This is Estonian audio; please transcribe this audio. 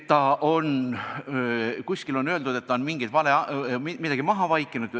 Kuskil on öeldud, et ta on midagi maha vaikinud.